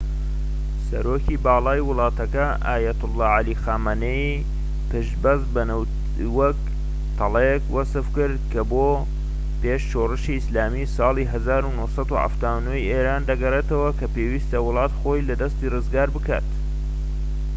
سەرۆکی باڵای وڵاتەکە ئایەتوڵا عەلی خامانایی پشت بەستن بە نەوتی وەک تەڵەیەک وەسفکرد کە بۆ پێش شۆڕشی ئیسلامی ساڵی 1979ی ئێران دەگەڕێتەوە و کە پێویستە وڵات خۆی لە دەستی ڕزگار بکات